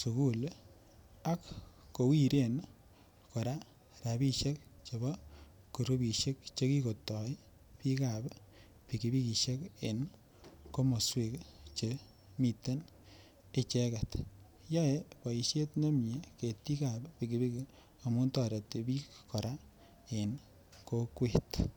sukul ak kowiren kora rabishek chebo kurubishek chekikotoi biikab pikipikishek en komoswek chemiten icheket, yoe boishet nemie ketikab pikipiki amun toreti biik kora en kokwet.